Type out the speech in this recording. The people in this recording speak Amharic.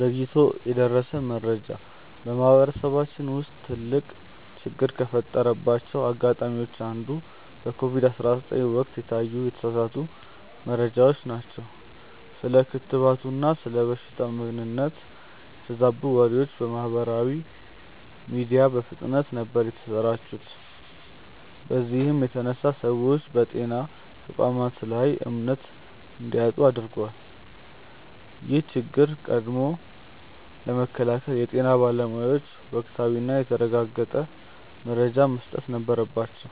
ዘግይቶ የደረሰ መረጃ በማህበረሰባችን ውስጥ ትልቅ ችግር ከፈጠረባቸው አጋጣሚዎች አንዱ በኮቪድ 19 ወቅት የታዩ የተሳሳቱ መረጃዎች ናቸው። ስለ ክትባቱና ስለ በሽታው ምንነት የተዛቡ ወሬዎች በማህበራዊ ሚዲያ በፍጥነት ነበር የተሰራጩት በዚህም የተነሳ ሰዎች በጤና ተቋማት ላይ እምነት እንዲያጡ አድርጓል። ይህን ችግር ቀድሞ ለመከላከል የጤና ባለሙያዎች ወቅታዊና የተረጋገጠ መረጃን መስጠት ነበረባቸው።